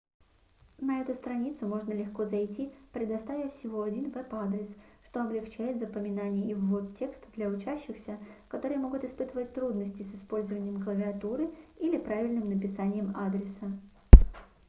на эту страницу можно легко зайти предоставив всего один веб-адрес что облегчает запоминание и ввод текста для учащихся которые могут испытывать трудности с использованием клавиатуры или правильным написанием адреса